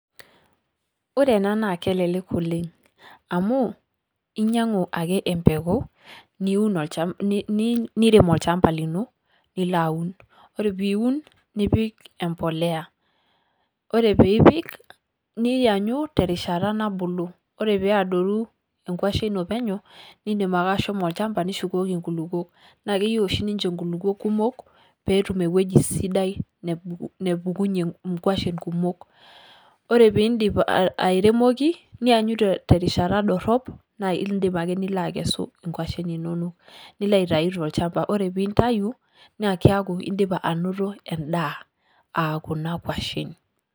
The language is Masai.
Ore enaa kelelek oleng' ,amuu inyang'u ake empeku nirem olchamba lino nilo aun. Ore piun nipik emboleya , ore pipik niyanyu terishata nabulu ore peadoru enkuashe ino penyo nidim ake ashomo olchamba nishukoki nkulupuok. Naa keyieu oshi ninche nkulupuok kumok petum eweji sidai nepukunye nkushuen kumok. Ore pidim airemoki nianyu terishata dorop nidip ake nilo akesu nkuashen inonok. Nilo aitayu tolchamba, ore pintayu naa keaku idipa anoto edaa aa kuna kuashen.